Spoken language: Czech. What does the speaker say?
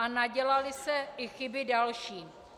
A nadělaly se i chyby další.